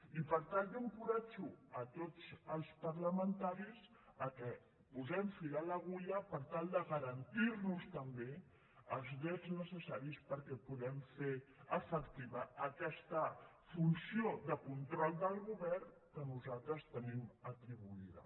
i per tant jo encoratjo a tots els parlamentaris que posem fil a l’agulla per tal de garantir nos també els drets necessaris perquè puguem fer efectiva aquesta funció de control del govern que nosaltres tenim atribuïda